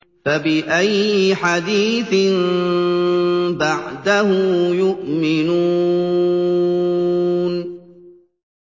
فَبِأَيِّ حَدِيثٍ بَعْدَهُ يُؤْمِنُونَ